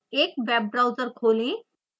एक web browser खोलें